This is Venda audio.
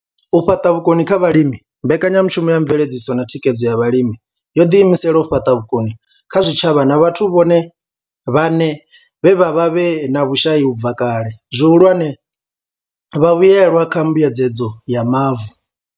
U fhaṱa vhukoni kha vhalimi mbekanyamushumo ya mveledziso na thikhedzo ya vhalimi yo ḓi imisela u fhaṱa vhukoni kha zwitshavha na vhathu vhone vhaṋe vhe vha vha vhe na vhushai u bva kale, zwihulwane, vhavhuelwa kha mbuedzedzo ya mavu.